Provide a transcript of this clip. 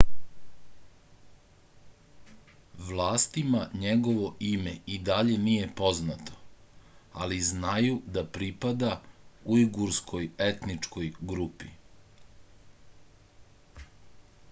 vlastima njegovo ime i dalje nije poznato ali znaju da pripada ujgurskoj etničkoj grupi